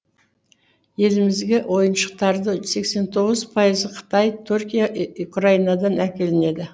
елімізге ойыншықтарды сексен тоғыз пайызы қытай түркия украинадан әкелінеді